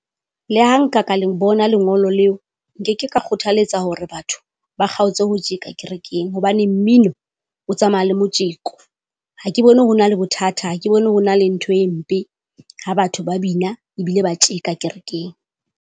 Le ha nka ka le bona lengolo leo, nke ke ka kgothaletsa hore batho ba kgaotse ho tjeka kerekeng hobane mmino o tsamaya le motjeko. Ha ke bone ho na le bothata, ha ke bone ho na le ntho e mpe ha batho ba bina ebile ba tjeka kerekeng.